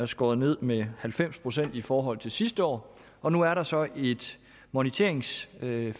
skåret ned med halvfems procent i forhold til sidste år år nu er der så et moniteringsfiskeri